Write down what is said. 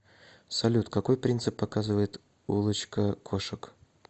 салют какой принцип показывает улочка кошек